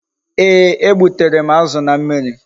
Ee, e gbutere m azụ na mmiri